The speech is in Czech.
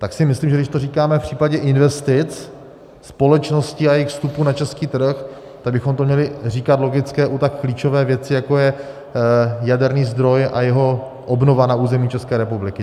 Tak si myslím, že když to říkáme v případě investic společností a jejich vstupu na český trh, tak bychom to měli říkat logicky u tak klíčové věci, jako je jaderný zdroj a jeho obnova na území České republiky.